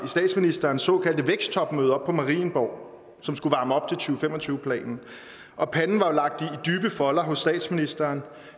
statsministerens såkaldte væksttopmøde oppe på marienborg som skulle varme op og fem og tyve planen og panden var lagt i dybe folder hos statsministeren